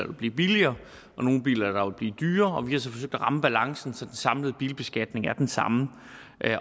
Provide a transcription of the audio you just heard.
vil blive billigere og nogle biler der vil blive dyrere og vi har så forsøgt at ramme balancen så den samlede bilbeskatning er den samme